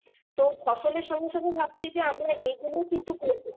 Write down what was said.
তো ফসলের সঙ্গে সঙ্গে ভাবছি যে আমরা এই গুলোও কিন্তু করবো